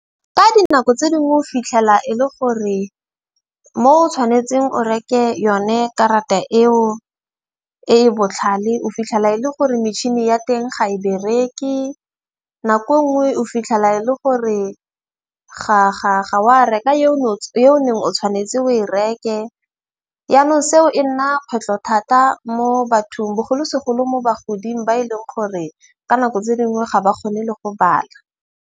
Ka dinako tse dingwe o fitlhela e le gore mo o tshwanetseng o reke yone karata eo e e botlhale o fitlhela e le gore metšhini ya teng ga e bereke. Nako nngwe o fitlhela e le gore ga wa reka yo yo o neng o tshwanetse o e reke. Yanong seo e nna kgwetlho thata mo bathong bogolosegolo mo bagoding ba e leng gore, ka nako tse dingwe ga ba kgone le go bala.